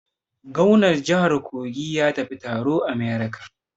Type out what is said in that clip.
Gomnar jihar Kogi ya tafi taro a America.